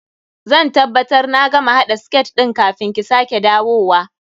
Zan tabbabtar na gama haɗa siket ɗin kafin ki sake dawowa.